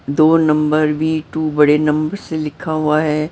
दो नंबर भी टू बड़े नंबर से लिखा हुआ है।